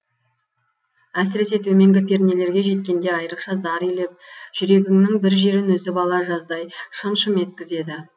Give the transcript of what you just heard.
әсіресе төменгі пернелерге жеткенде айрықша зар илеп жүрегіңнің бір жерін үзіп ала жаздай шым шым еткізеді